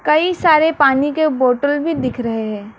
कई सारे पानी के बोतल भी दिख रहे हैं।